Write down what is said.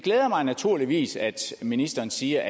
glæder mig naturligvis at ministeren siger